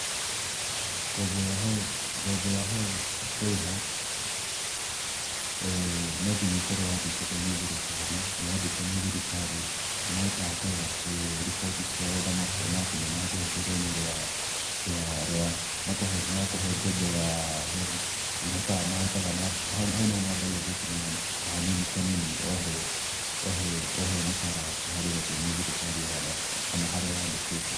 Ngombo ya HELB, ngombo ya HELB kũrĩha, no nginya ũkorwo wandĩkĩtwo nĩ thirikari, na wandĩkwo nĩ thirikari, nĩ mahotaga kũrora kwĩ riboti ciao na makona atĩ nĩmakũhete rũni rwa rwa, ngombo ya HELB. Hau nĩho mambagia gũtinia kanini kanini o he mũcara waku ũrĩa ũhetwo nĩ thirikari, kana harĩa wandĩkĩtwo.